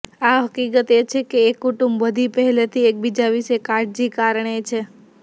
આ હકીકત એ છે કે એક કુટુંબ બધી પહેલેથી એકબીજા વિશે કાળજી કારણે છે